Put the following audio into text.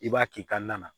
I b'a k'i ka na na